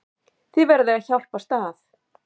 Þið verðið að hjálpast að.